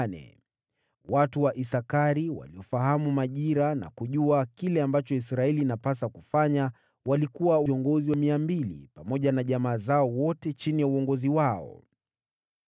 Watu wa Isakari, waliofahamu majira na kujua kile ambacho Israeli inapasa kufanya, walikuwa viongozi 200, pamoja na jamaa zao wote chini ya uongozi wao.